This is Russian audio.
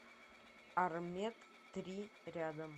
армед три рядом